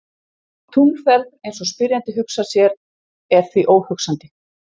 Tunglferð eins og spyrjandi hugsar sér er því óhugsandi.